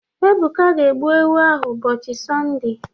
Ebuka ga-egbu ewu ahụ ụbọchị Sọnde.